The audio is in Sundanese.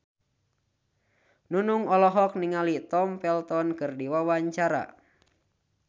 Nunung olohok ningali Tom Felton keur diwawancara